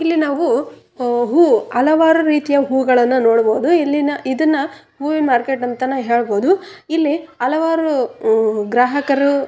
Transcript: ಇಲ್ಲಿ ನಾವು ಹ್ಮ್ ಹೂ ಹಲವಾರು ರೀತಿಯ ಹೂಗಳನ್ನು ನೋಡಬಹುದು ಇಲ್ಲಿನ ಇದನ್ನ ಹೂವಿನ ಮಾರ್ಕೆಟ್ ಅಂತಾನು ಹೇಳಬಹುದು ಇಲ್ಲಿ ಹಲವಾರು ಹಮ್ ಗ್ರಾಹಕರು--